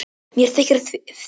Mér þykir fyrir því.